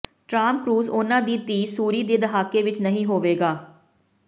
Tom Cruise ਉਨ੍ਹਾਂ ਦੀ ਧੀ ਸੂਰੀ ਦੇ ਦਹਾਕੇ ਵਿੱਚ ਨਹੀਂ ਹੋਵੇਗਾ